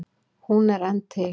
Hún er enn til.